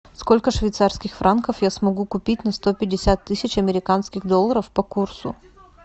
сколько швейцарских франков я смогу купить на сто пятьдесят тысяч американских долларов по курсу